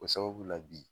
O sababu la bi